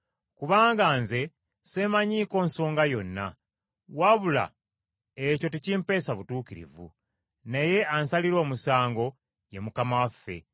Kubanga nze seemanyiiko nsonga yonna, wabula ekyo tekimpeesa butuukirivu, naye ansalira omusango ye Mukama waffe.